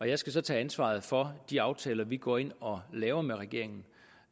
jeg skal så tage ansvaret for de aftaler vi går ind og laver med regeringen